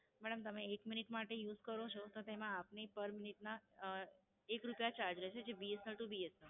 madam, તમે એક minute માટે Use કરો છો તેમાં આપને Per minute ના એક રૂપિયા Charge રહેશે જે B S N L to B S N L